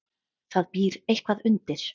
Það býr eitthvað undir.